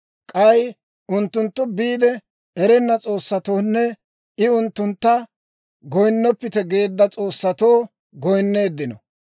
K'ay unttunttu biide, erenna s'oossatoonne I unttuntta goyinnoppite geedda s'oossatoo goyinneeddino.